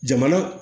Jamana